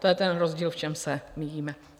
To je ten rozdíl, v čem se míjíme.